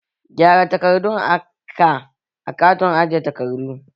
Gyara takardun ka a katakon ajeyi takardu!